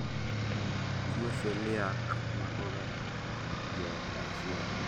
tuwo celiac makoga joot achiel